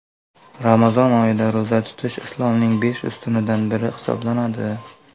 Ramazon oyida ro‘za tutish Islomning besh ustunidan biri hisoblanadi.